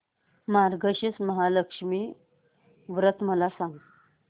मार्गशीर्ष महालक्ष्मी व्रत मला सांग